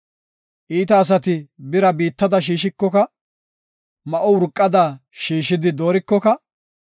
Iita asati bira biittada shiishikoka, ma7o urqada shiishidi doorikoka,